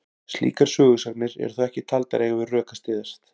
Slíkar sögusagnir eru þó ekki taldar eiga við rök að styðjast.